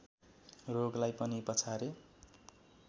रोगलाई पनि पछारे